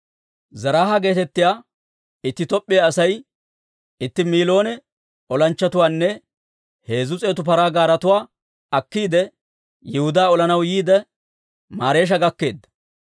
Zeraaha geetettiyaa itti Top'p'iyaa Asay itti miiloone olanchchatuwaanne heezzu s'eetu paraa gaaretuwaa akkiide, Yihudaa olanaw yiide, Mareesha gakkeedda.